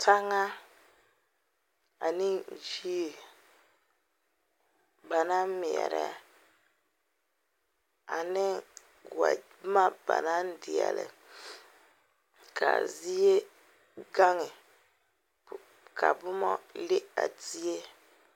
Tanŋa ane yie ba naŋ meɛre ane boma ba naŋ deɛle ka zie gaŋɛ ka boma le a zie.